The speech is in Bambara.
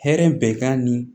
Hɛrɛ bɛ kan ni